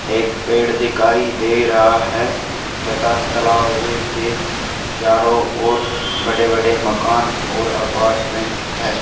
एक पेड़ दिखाई दे रहा है तथा तालाव के चारों ओर बड़े-बड़े मकान और अपार्टमेंट है।